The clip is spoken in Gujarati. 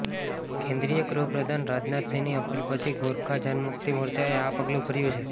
કેન્દ્રીય ગૃહપ્રધાન રાજનાથ સિંહની અપીલ પછી ગોરખા જનમુક્તિ મોર્ચાએ આ પગલુભર્યું છે